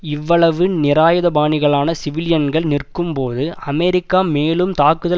இவ்வளவு நிராயுதபாணிகளான சிவிலியன்கள் நிற்கும்போது அமெரிக்கா மேலும் தாக்குதல்